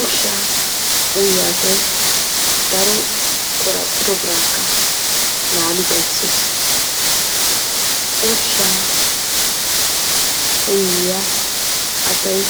Ushshaa uyiya asay daro qoraphphiro biraakka laali xayssees. Ushshaa uyiya asay